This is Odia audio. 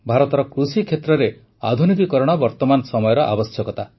ଭାରତର କୃଷିକ୍ଷେତ୍ରରେ ଆଧୁନିକୀକରଣ ବର୍ତମାନ ସମୟର ଆବଶ୍ୟକତା